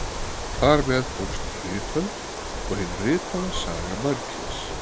Þar með hófst ritöld og hin ritaða saga mannkyns.